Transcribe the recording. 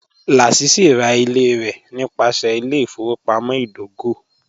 Lásísí rá ilẹ̀ rẹ nípasẹ̀ ilẹ̀-ìfọwọpamọ̀ idògò